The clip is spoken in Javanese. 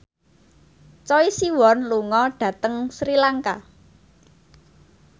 Choi Siwon lunga dhateng Sri Lanka